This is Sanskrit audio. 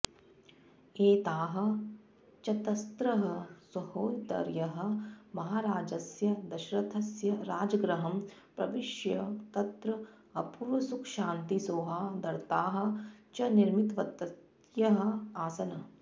एताः चतस्रः सहोदर्यः महाराजस्य दशरथस्य राजगृहं प्रविष्य तत्र अपूर्वसुखशान्तिसौहार्दताः च निर्मितवत्यः आसन्